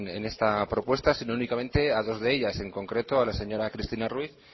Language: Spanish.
en esta propuesta sino únicamente a dos de ellas en concreto a la señora cristina ruiz